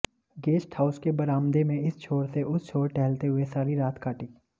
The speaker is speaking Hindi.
गेस्ट हाउस के बरामदे में इस छोर से उस छोर टहलते हुए सारी रात काटी